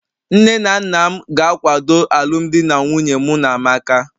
Nne na nna m ga-akwado alụmdi na nwunye mụ na amaka